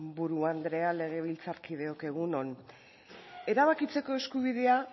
buru andrea legebiltzarkideok egun on erabakitzeko eskubidea